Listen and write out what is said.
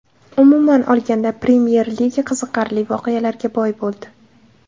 Umuman olganda, Premyer Liga qiziqarli voqealarga boy bo‘ldi.